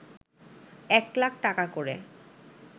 এক লাখ টাকা করে